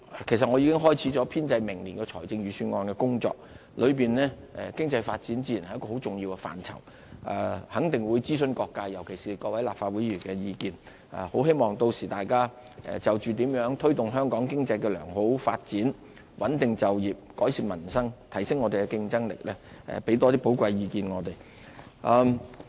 其實我已經開始編製明年財政預算案的工作，當中經濟發展自然是一個很重要的範疇，肯定會諮詢各界，尤其是各位立法會議員的意見，很希望屆時大家就着怎樣推動香港經濟的良好發展、穩定就業、改善民生和提升香港的競爭力，多給我們一些寶貴意見。